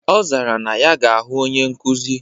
Ọ zara na ya ga-ahụ onye nkuzi.